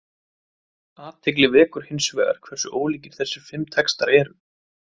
Athygli vekur hins vegar hversu ólíkir þessir fimm textar eru.